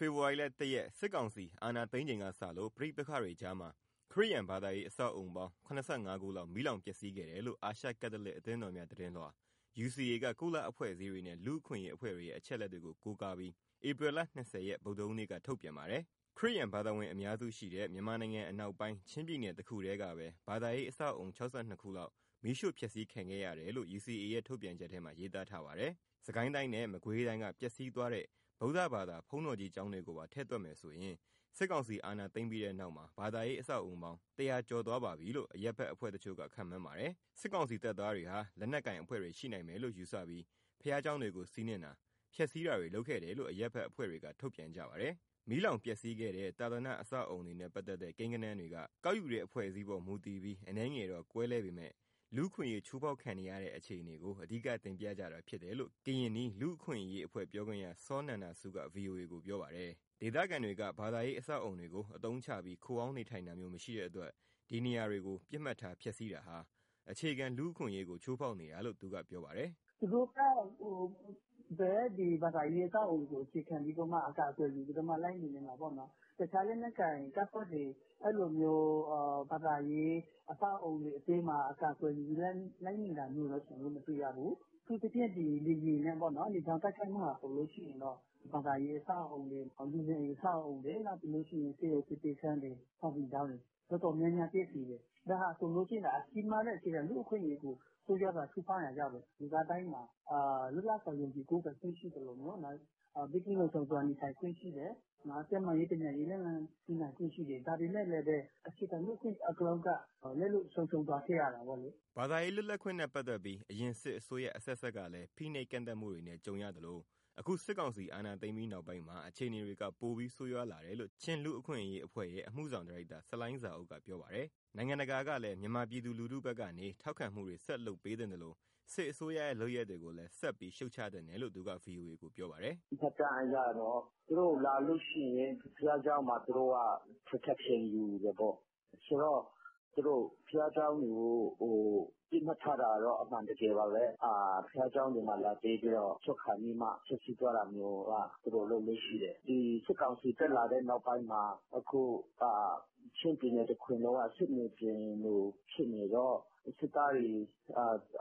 ဖေဖော်ဝါရီ ၁ရက် စစ်ကောင်စီ အာဏာသိမ်းချိန် ကစလို့ ပဋိပက္ခတွေကြားမှာ ခရစ်ယာန် ဘာသာရေး အဆောက်အဦပေါင်း ၇၅ ခုလောက် မီးလောင်ပျက်စီးခဲ့တယ်လို့ အာရှကက်သလစ် အသင်းတော်များ သတင်းလွှာ UCA က ကုလအဖွဲ့အစည်းတွေ နဲ့ လူ့အခွင့်အရေးအဖွဲ့တွေရဲ့ အချက်အလက်တွေကို ကိုးကားပြီး ဧပြီလ ၂၀ရက်၊ ဗုဒ္ဓဟူးနေ့က ထုတ်ပြန်ပါတယ်။ ခရစ်ယာန် ဘာသာဝင် အများစုရှိတဲ့ မြန်မာနိုင်ငံ အနောက်ပိုင်း ချင်းပြည်နယ်တခုတည်းကပဲ ဘာသာရေး အဆောက်အဦ ၆၂ခုလောက် မီးရှို့ဖျက်စီးခံရတယ်လို့ UCA ရဲ့ ထုတ်ပြန်ချက်မှာ ရေးသားထားပါတယ်။ စစ်ကိုင်းတိုင်းနဲ့ မကွေးတိုင်းက ပျက်စီးသွားတဲ့ ဗုဒ္ဓဘာသာ ဘုန်းတော်ကြီးကျောင်းတွေကိုပါ ထည့်တွက်မယ်ဆိုရင် စစ်ကောင်စီ အဏာသိမ်းပြီးတဲ့နောက်မှာ ဘာသာရေး အဆောက်အဦပေါင်း ၁၀၀ ကျော်သွားပါပြီလို့ အရပ်ဘက်အဖွဲ့တချို့ ခန့်မှန်းပါတယ်။ စစ်ကောင်စီတပ်သားတွေဟာ လက်နက်ကိုင်အဖွဲ့တွေ ရှိနိုင်မယ်လို့ ယူဆပြီး ဘုရားကျောင်းတွေကို စီးနင်းတာ၊ ဖျက်စီးတာတွေ လုပ်ခဲ့တယ်လို့ အရပ်ဘက်အဖွဲ့တွေက ထုတ်ပြန်ကြပါတယ်။ မီးလောင်ပျက်စီးခဲ့တဲ့ သာသနာ့ အဆောက်အဦတွေနဲ့ ပတ်သက်တဲ့ ကိန်းဂဏန်းတွေက ကောက်ယူတဲ့အဖွဲ့အစည်းအပေါ် မူတည်ပြီး အနည်းငယ်တော့ ကွဲလွဲကြမဲ့ အဓိကတော့ လူ့အခွင့်အရေး ချိုးဖောက်ခံနေရတဲ့ အခြေအနေကို အဓိကတင်ပြကြတာဖြစ်တယ်လို့ ကရင်နီ လူ့အခွင့်အရေးအဖွဲ့ ပြောခွင့်ရ စောနန္ဒဆူးက ဗွီအိုအေကို ပြောပါတယ်။ ဒေသခံတွေက ဘာသာရေး အဆောက်အအုံတွေကို အသုံးချပြီး ခိုအောင်းနေထိုင်တာမျိုး မရှိတဲ့အတွက် ဒီနေရာကို ပစ်မှတ်ထား ဖျက်စီးတာဟာ အခြေခံ လူ့အခွင့်ရေးတွေကို ချိုးဖောက်နေတာလို့ သူကပြောပါတယ်။ " သူတို့က ဒီဘာသာရေး အဆောက်အဦတွေကို အကာအကွယ်ယူပြီး လိုက်နေနေတာပေါ့။ တခြားလက်နက်ကိုင်တပ်ဖွဲ့တွေ အဲလိုဘာသာရေး အဆောက်အဦတွေအတွင်းမှာ အကာကွယ်ယူပြီး လိုက်နေတာမျိုး ကျနော်တို့ မတွေ့ရဘူး။ အထူးသဖြင့် ဒီလေယာဉ်နဲ့ပေါ့နော်။ လေကြောင်းတိုက်ခိုက်မှုဟာ ဘာသာရေး အဆောက်အဦတွေ၊ လူနေအိမ်တွေ၊ ဆေးရုံဆေးပေးခန်းတွေ၊ စာသင်ကျောင်းတွေ တော်တော်များများ ပျက်စီးတယ်။ ဒါဟာဆိုလို့ရှိရင် ကြီးမားတဲ့ အခြေခံ လူ့အခွင့်အရေးကို ဆိုးရွားစွာ ချိုးဖောက်ရာရောက်တယ်။ လူသားတိုင်းမှာ လွတ်လပ်စွာ ယုံကြည်ကိုးကွယ်ခွင့်ရှိသလို ဘေးကင်းလုံခြုံစွာ နေထိုင်ခွင့်ရှိတယ်။ ကျန်းမာရေး ပညာရေး လက်လှမ်းမီနိုင်ခွင့်ရှိတယ်။ ဒါပေမဲ့လည်း အခြေခံလူ့အခွင့်အရေး အကုန်လုံးက လက်လွတ်ဆုံရှုံး သွားခဲ့ရတာပေါ့လေ။" ဘာသာရေး လွတ်လပ်ခွင့်နဲ့ ပတ်သက်ပြီး အရင်စစ်အစိုးရ အဆက်ဆက်ကလည်း ဖိနှိပ်ကန့်သတ်မှုတွေနဲ့ ကြုံရသလို အခုစစ်ကောင်စီ အာဏာသိမ်းပြီးနောက်ပိုင်းမှာ အခြေအနေတွေက ပိုပြီးဆိုရွားလာတယ်လို့ ချင်းလူ့အခွင့်ရေးအဖွဲ့ရဲ့ အမှုဆောင်ဒါရိုက်တာ ဆလိုင်းဇာအုပ်က ပြောပါတယ်။ နိုင်ငံတကာကလည်း မြန်မာပြည်သူထုဘက်ကနေ ထောက်ခံမှုတွေ ဆက်လုပ်ပေးသင့်သလို စစ်အစိုးရရဲ့ လုပ်ရပ်တွေကိုလည်း ဆက်ပြီးရှုပ်ချသင့်တယ်လို့ သူကဗွီအိုအေကို ပြောပါတယ်။ " မှတ်တမ်းအရတော့ သူတို့လာလို့ရှိရင် ဘုရားကျောင်းမှာ သူတို့က protection (အကာအကွယ်) ယူတယ်ပေါ့။ ဆိုတော့ သူတို့ဘုရားကျောင်းတွေကို ပစ်မှတ်ထားတာကတော့ အမှန်တကယ်ပါပဲ။ ဘုရားကျောင်းတွေမှာ လာတည်းပြီးတော့ ထွက်ခါနီးမှ ဖျက်စီးသွားတာမျိုးက သူတို့လုပ်လေ့ရှိတယ်။ ဒီစစ်ကောင်စီတက်လာတဲ့နောက်ပိုင်းမှာ ချင်းပြည်နယ်တခွင်လုံးက စစ်မြေပြင်လိုဖြစ်နေတော့ စစ်သားတွေက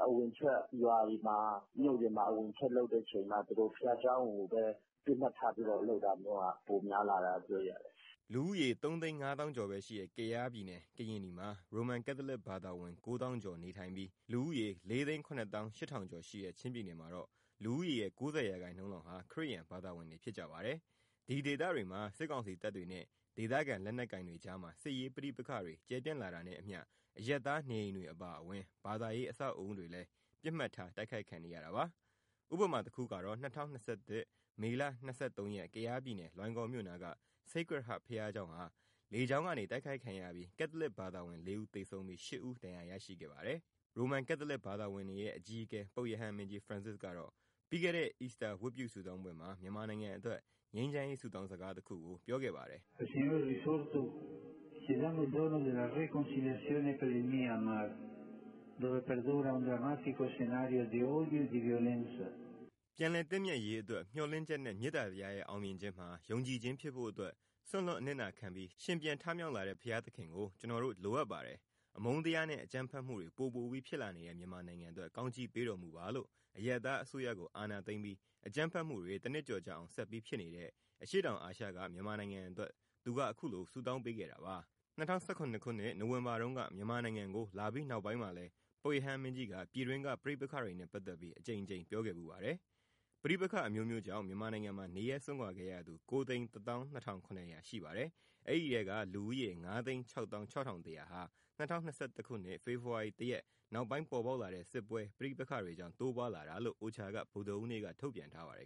အဝင်အထွက်ရွာတွေမှာ မြို့တွေမှာ အဝင်အထွက်လုပ်တဲ့အချိန်မှာ ဘုရားကျောင်းကိုပဲ ပစ်မှတ်ထားပြီးတော့ လုပ်တာမျိုးက ပိုများလာတာတွေ့ရတယ်။" လူဦးရေ ၃၅၀,၀၀၀ ကျော်ပဲရှိတဲ့ ကယားပြည်နယ် (ကရင်နီ)မှာ ရိုမန်ကက်သလစ် ဘာသာဝင် ၉၀,၀၀၀ ကျော်နေထိုင်ပြီး၊ လူဦးရေ ၄၇၈,၀၀၀ ကျော်ရှိတဲ့ ချင်းပြည်နယ်မှာတော့ လူဦးရေရဲ့ ၉၀ရာခိုင်နှုန်းလောက်က ခရစ်ယာန် ဘာသာဝင်တွေ ဖြစ်ပါတယ်။ ဒီဒေသတွေမှာ စစ်ကောင်စီတပ်တွေနဲ့ ဒေသခံလက်နက်ကိုင်တွေကြားမှာ စစ်ရေးပဋိပက္ခတွေ ကျယ်ပြန့်လာတာနဲ့အမျှ အရပ်သားနေအိမ်တွေအပါအဝင် ဘာသာရေး အဆောက်အဦတွေလည်း ပစ်မှတ်ထား တိုက်ခိုက်ခံနေရတာပါ။ ဥပမာတခုကတော့ ၂၀၂၁ မေလ ၂၃ရက်က ကယားပြည်နယ်၊ လွိုင်ကော်မြို့နားက Sacred Heart ဘုရားကျောင်းဟာ လေကြောင်းကနေ တိုက်ခိုက်ခံရပြီး ကက်သလစ်ဘာသာဝင် လေးဦးသေဆုံးပြီး ရှစ်ဦးဒဏ်ရာ ရရှိခဲ့ပါတယ်။ ရိုမန်ကက်သလစ် ဘာသာဝင်တွေရဲ့ အကြီးအကဲ ပုပ်ရဟန်းမင်းကြီး Francis ကတော့ ပြီးခဲ့တဲ့ အီစတာဝတ်ပြု ဆုတောင်းပွဲမှာ မြန်မာနိုင်ငံအတွက် ငြိမ်းချမ်းရေး ဆုတောင်းစကားတခုကို ပြောခဲ့ပါတယ်။ " ပြန်လည်သင့်မြတ်ရေးအတွက် မျှော်လင့်ချက်နဲ့ မေတ္တာတရားရဲ့ အောင်မြင်ခြင်းမှာ ယုံကြည်ခြင်းဖြစ်ဖို့အတွက် စွန့်လွှတ်အနစ်နာခံပြီး ရှင်ပြန်ထမြောက်လာတဲ့ ဘုရားသခင်ကို ကျနော်တို့ လိုအပ်ပါတယ်။ အမုန်းတရားနဲ့ အကြမ်းဖက်မှုတွေ ပိုပိုပြီး ဖြစ်လာနေတဲ့ မြန်မာနိုင်ငံအတွက် ကောင်းချီးပေးတော်မူပါ။" လို့ အရပ်သားအစိုးရကို အာဏာသိမ်းပြီး အကြမ်းဖက်မှုတွေ တနှစ်ကျော်ကြာအောင် ဆက်ပြီးဖြစ်နေတဲ့ အရှေ့တောင်အာရှက မြန်နိုင်ငံအတွက် သူကအခုလို ဆုတောင်းပေးခဲ့တာပါ။ ၂၀၁၇ နိုဝင်ဘာတုန်းက မြန်မာနိုင်ငံကိုလာပြီး နောက်ပိုင်းမှာလည်း ပုပ်ရဟန်းမင်းကြီးက ပြည်တွင်းက ပဋိပက္ခတွေနဲ့ပတ်သက်ပြီး အကြိမ်ကြိမ်ပြောခဲ့ဖူးပါတယ်။ ပဋိပက္ခအမျိုးမျိုးကြောင့် မြန်မာနိုင်ငံမှာ နေရပ်စွန့်ခွာခဲ့ရသူ ၉၁၂,၇၀၀ ရှိပါတယ်။ အဲဒီအထဲက လူဦးရေ ၅၆၆,၁၀၀ ဟာ ၂၀၂၁ ဖေဖော်ဝါရီ၁ရက် နောက်ပိုင်းပေါ်ပေါက်လာတဲ့ စစ်ပွဲ၊ ပဋိပက္ခတွေကြောင့် တိုးပွားလာတာလို့ OCHA က ဗုဒ္ဓဟူးနေ့က ထုတ်ပြန်ထားပါတယ်